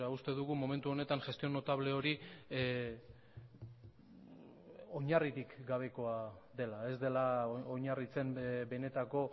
uste dugu momentu honetan gestión notable hori oinarririk gabekoa dela ez dela oinarritzen benetako